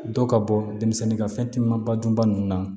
Dɔ ka bɔ denmisɛnnin ka fɛn timinan ba dun ba ninnu na